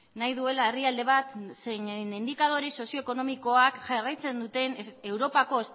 nahi duela herrialde bat zeinen indikadore sozio ekonomikoak jarraitzen duten europako